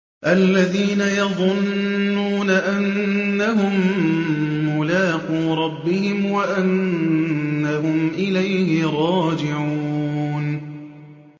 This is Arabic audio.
الَّذِينَ يَظُنُّونَ أَنَّهُم مُّلَاقُو رَبِّهِمْ وَأَنَّهُمْ إِلَيْهِ رَاجِعُونَ